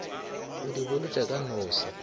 o di bolotša ka nose